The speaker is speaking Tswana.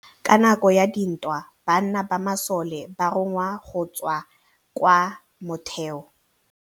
Ka nakô ya dintwa banna ba masole ba rongwa go tswa kwa mothêô.